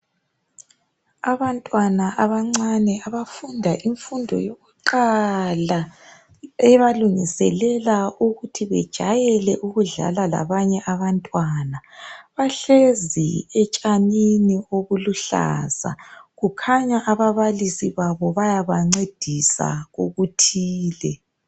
Abantwana abancane abafunda imfundo yokuqala, ebalungiselela ukuthi bejwayele ukudlala labanye abantwana. Bahlezi etshanini obuluhlaza, kukhanya ababalisi babo bayabancedisa kokuthile.